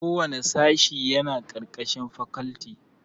Kowanne sashe yana ƙarƙashin fakalti